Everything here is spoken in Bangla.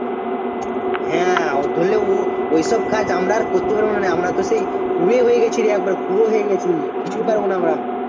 ধরেলে ও~ ওইসব কাজ আমরা আর করতে পারবো না মানে আমরা তো সেই কুঁড়ে হয়ে গেছিরে একবার কুঁড়ো হয়ে গেছি কিছুই পারবো না আমরা